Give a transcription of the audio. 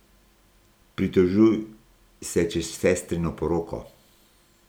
Pritožuj se čez sestrino poroko.